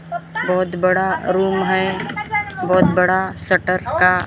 बहुत बड़ा रूम हैं बहुत बड़ा शटर का--